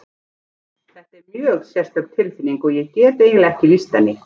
Þetta er mjög sérstök tilfinning og ég get eiginlega ekki lýst henni.